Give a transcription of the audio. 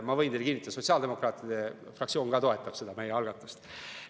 Ma võin teile kinnitada, et sotsiaaldemokraatide fraktsioon toetab meie algatust.